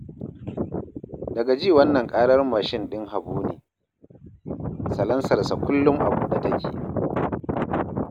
Daga ji wannan ƙarar mashin ɗin Habu ne, salansarsa kullum a buɗe take!